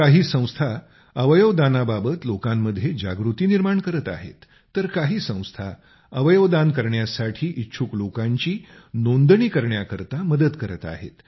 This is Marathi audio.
काही संस्था अवयवदानाबाबत लोकांमध्ये जागृती निर्माण करत आहेत तर काही संस्था अवयवदान करण्यास इच्छुक लोकांची नोंदणी करण्यासाठी मदत करत आहेत